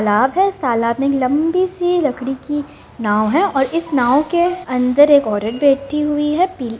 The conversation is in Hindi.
तालाब है इस तालाब में एक लंबी सी लकड़ी कि नाव है और इस नाव के अंदर एक औरत बैठी हुई है पी --